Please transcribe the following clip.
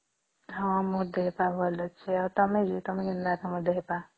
ହଁ ମୋ ଦେହ ପା ଭଲ ଅଛି ଆଉ ତମେ ବି ତମେ କେନ୍ତା ଅଛ ତମ ଦେହ ପା ?